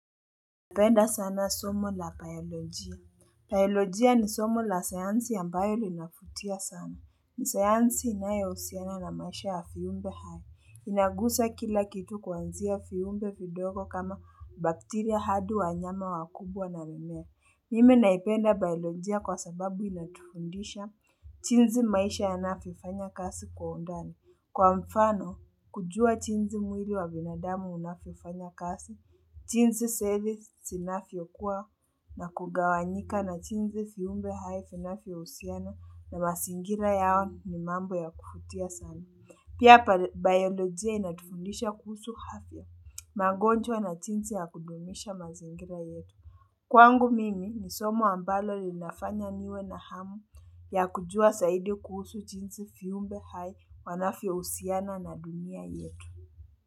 Naipenda sana somo la bayologia. Bayologia ni somo la sayansi ambayo linavutia sana. Ni sayansi inayohusiana na maisha wa viumbe hai. Inagusa kila kitu kuanzia viumbe vidogo kama bakteria hadi wanyama wakubwa na mimea. Mimi naipenda bayologia kwa sababu inatufundisha. Jinsi maisha yanavyofanya kazi kwa undani. Kwa mfano, kujua jinsi mwili wa binadamu unavyofanya kazi. Jinsi seli zinavyokua na kugawanyika na jinsi viumbe hai vinavyo husiana na mazingira yao ni mambo ya kuvutia sana. Pia bayolojia inatufundisha kuhusu afya. Mangonjwa na jinsi ya kudumisha mazingira yetu. Kwangu mimi ni somo ambalo linafanya niwe na hamu ya kujua zaidi kuhusu jinsi viumbe hai wanavyohusiana na dunia yetu.